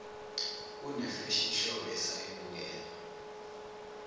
kunefashion show esasiyibukela